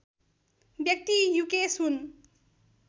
व्यक्ति युकेश हुन्